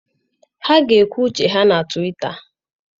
Ha ga-ekwu uche ha na Twịta.